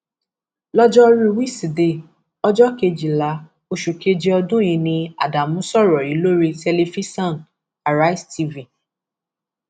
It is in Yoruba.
lọjọrùú wíṣídẹẹ ọjọ kejìlá oṣù keje ọdún yìí ni ádámù sọrọ yìí lórí tẹlifíṣàn arise tv